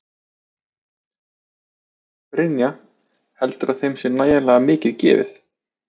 Brynja: Heldurðu að þeim sé nægilega mikið gefið?